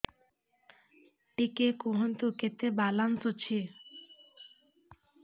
ଟିକେ କୁହନ୍ତୁ କେତେ ବାଲାନ୍ସ ଅଛି